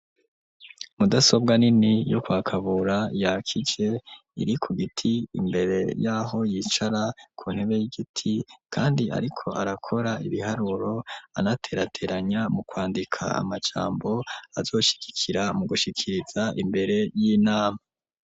Mudasobwa nini yo kwa Kabura, yakije iri ku giti imbere y'aho yicara ku ntebe y'igiti, kandi ariko arakora ibiharuro, anaterateranya mu kwandika amajambo, azoshigikira mu gushikiriza imbere y'inama.